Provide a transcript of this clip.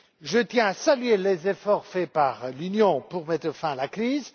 Je tiens à saluer les efforts faits par l'Union pour mettre fin à la crise.